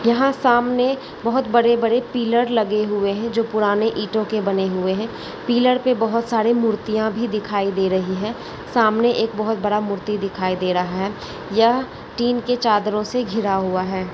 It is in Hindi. यहाँ सामने बहोत बड़े बड़े पिलर लगे हुए हैं जो पुराने ईटो के बने हुए हैं पिलर पे बोहोत सारे मूर्तिया भी दिखाई दे रहीं हैं सामने एक बोहोत बड़ा मूर्ति दिखाई दे रहा है यह टिन के चादरों से घिरा हुआ है।